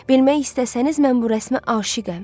Bilmək istəsəniz mən bu rəsmə aşiqəm.